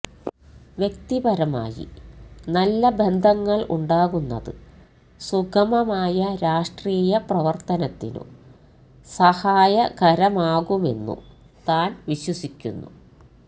വ്യക്തിപരമായി നല്ല ബന്ധങ്ങൾ ഉണ്ടാകുന്നത് സുഗമമായ രാഷ്ട്രീയ പ്രവർത്തനത്തിനു സഹായകരമാകുമെന്നു താൻ വിശ്വസിക്കുന്നു